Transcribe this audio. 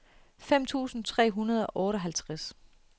fem tusind tre hundrede og otteoghalvtreds